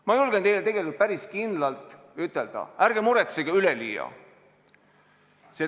Ma julgen tegelikult päris kindlalt ütelda, et ärge muretsege üleliia.